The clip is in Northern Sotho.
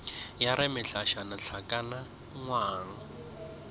ya re mehlašana hlakana ngwang